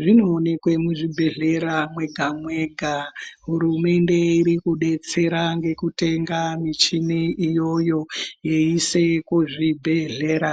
zvinoonekwa muzvibhedhlera mwega mwega hurumende iri kudetsera ngekutenga michini iyo yeisa kuzvibhedhlera.